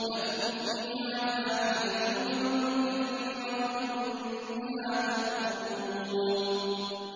لَكُمْ فِيهَا فَاكِهَةٌ كَثِيرَةٌ مِّنْهَا تَأْكُلُونَ